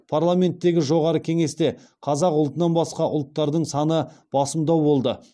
парламенттегі жоғары кеңесте қазақ ұлтынан басқа ұлттардың саны басымдау болды